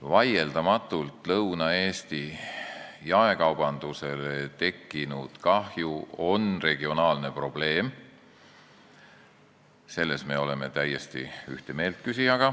Vaieldamatult on Lõuna-Eesti jaekaubandusele tekkinud kahju regionaalne probleem, selles me oleme küsijaga täiesti ühte meelt.